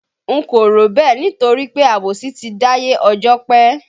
N kò rò bẹ́ẹ̀ nítorí pé àbòsí ti dáyé ọjọ́ pé